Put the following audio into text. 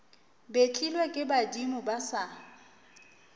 betlilwe ke badimo ba sa